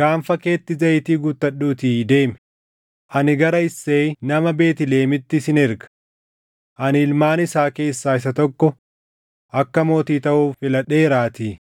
Gaanfa keetti zayitii guuttadhuutii deemi; ani gara Isseeyi nama Beetlihemitti sin erga. Ani ilmaan isaa keessaa isa tokko akka mootii taʼuuf filadheeraatii.”